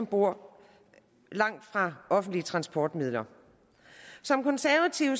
bor langt fra offentlige transportmidler som konservativ